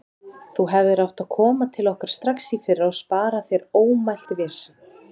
Þú hefðir átt að koma til okkar strax í fyrra og spara þér ómælt vesen.